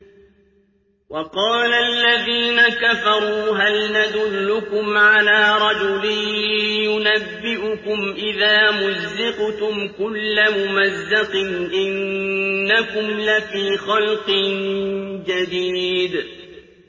وَقَالَ الَّذِينَ كَفَرُوا هَلْ نَدُلُّكُمْ عَلَىٰ رَجُلٍ يُنَبِّئُكُمْ إِذَا مُزِّقْتُمْ كُلَّ مُمَزَّقٍ إِنَّكُمْ لَفِي خَلْقٍ جَدِيدٍ